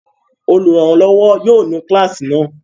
Olùrànlọ́wọ́ yóò nu kíláàsì náà!